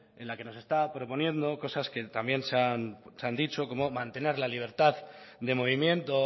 en la que nos está proponiendo cosas que también se han dicho como mantener la libertad de movimiento